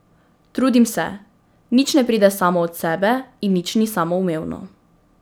Trudim se, nič ne pride samo od sebe in nič ni samoumevno.